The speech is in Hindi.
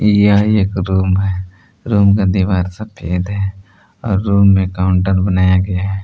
यह एक रूम है रूम का दीवार सफेद है रूम में काउंटर बनाया गया है।